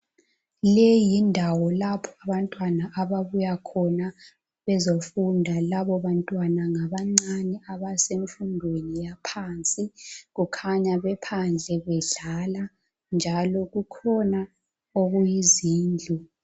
Leyi yindawo lapho abantwana ababuya khona bezofunda labo bantwana ngabancane abasemfundweni yaphansi, kukhanya bephandle bedlala njalo kukhona okuyizindlu.